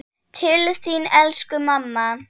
Til þín elsku mamma.